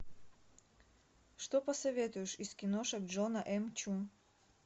что посоветуешь из киношек джона м чу